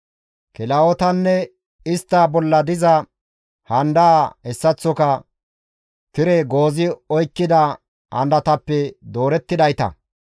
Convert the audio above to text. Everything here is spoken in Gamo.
kilahotanne istta bolla diza handaa hessaththoka tire goozi oykkida handatappe doorettidayta.